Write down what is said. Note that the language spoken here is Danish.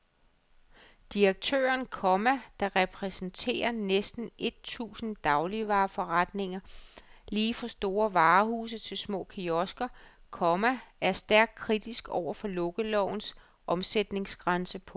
Direktøren, komma der repræsenterer næsten et tusind dagligvareforretninger lige fra store varehuse til små kiosker, komma er stærkt kritisk over for lukkelovens omsætningsgrænse. punktum